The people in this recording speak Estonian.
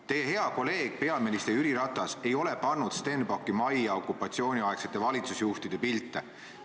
Teie hea kolleeg peaminister Jüri Ratas ei ole pannud Stenbocki majja okupatsiooniaegsete valitsusjuhtide pilte.